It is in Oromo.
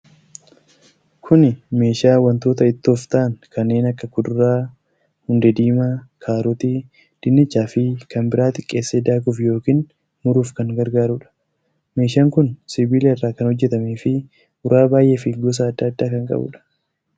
Kuni meeshaa wantoota ittoof ta'an kanneen akka kuduraa hundee dimaa, kaarotii, dinnicha fi kan biraa xixiqqeesse daakuuf yookiin muruuf kan gargaarudha. Meeshaan kun sibiila irraa kan hojjatamee fi uraa baay'ee fi gosa adda addaa kan qabuudha.